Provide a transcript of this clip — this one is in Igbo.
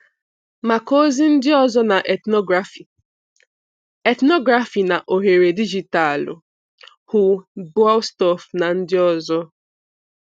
Maka ozi ndị ọzọ na ethnography ethnography na oghere dijitalụ, hụ Boellstorff na ndị ọzọ.